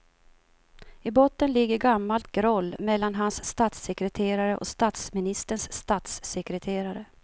I botten ligger gammalt groll mellan hans statssekreterare och statsministerns statssekreterare.